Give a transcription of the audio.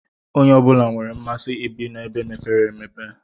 Onye ọbula nwèrè mmasị ibi ebe mepere emepe.